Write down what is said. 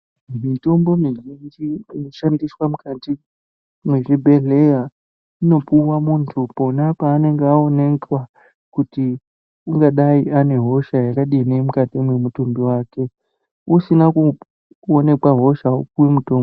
Mitombo mizhinji inoshandiswa mukati mezvibhedhera inopuwa muntu pona peanenge awoneka kuti angadai anehosha yakadini mukati mwemutumbi wake. Usina kuonekwa hosha wopiwe mutombo.